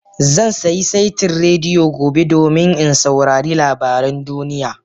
Zan sayi saitin rediyo gobe domin in saurari labaran duniya